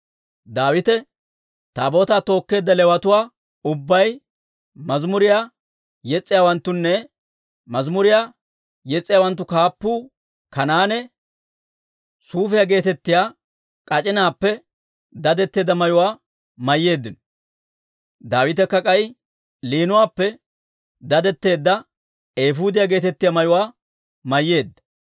Daawite, Taabootaa tookkeedda Leewatuu ubbay, mazimuriyaa yes's'iyaawanttunne mazimuriyaa yes's'iyaawanttu kaappuu Kanaane suufiyaa geetettiyaa k'ac'inaappe dadetteedda mayuwaa mayyeeddino. Daawitekka k'ay liinuwaappe dadetteedda eefuudiyaa geetettiyaa mayuwaa mayyeedda.